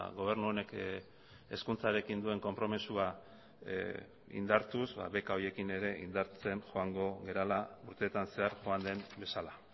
gobernu honek hezkuntzarekin duen konpromisoa indartuz beka horiekin ere indartzen joango garela urteetan zehar joan den bezala